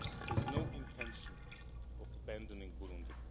has no intention of abandoning Burundi.